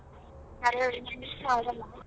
ಸರೆ miss ಆಗಲ್ಲ.